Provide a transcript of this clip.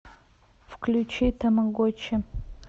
включи тамагочи